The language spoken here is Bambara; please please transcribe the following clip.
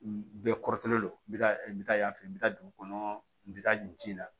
Bɛɛ kɔrɔtɛlen don bi ka n bɛ taa yan fɛ n bɛ taa dugu kɔnɔ n bɛ taa nin ci la